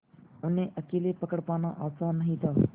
उन्हें अकेले पकड़ पाना आसान नहीं था